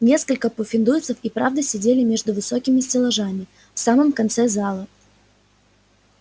несколько пуффендуйцев и правда сидели между высокими стеллажами в самом конце зала